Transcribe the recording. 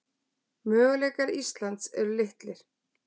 Möguleikar Íslands eru litlir